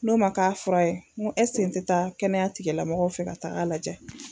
N'o ma k'a fura ye n ko ɛsike n te taa kɛnɛyatigilamɔgɔw fɛ ka tag'a lajɛ